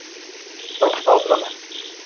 କଥା ହଉଥିଲ ନା